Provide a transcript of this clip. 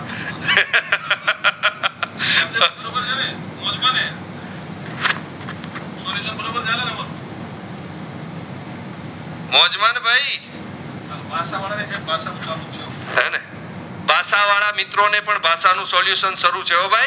ભાષા હીને ભાષા વડા મિત્રો ને પણ ભાષા નું solution સારું છે હો ભાઈ